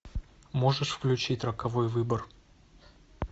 можешь включить роковой выбор